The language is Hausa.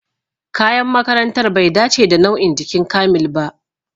Kayan makarantar bai dace da nau'in jikin Kamil ba